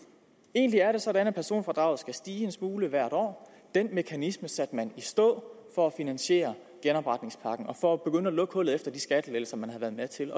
egentlig er det sådan at personfradraget skal stige en smule hvert år den mekanisme satte man i stå for at finansiere genopretningspakken og for at begynde at lukke hullet efter de skattelettelser man havde været med til